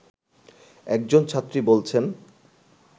একজন ছাত্রী বলছেন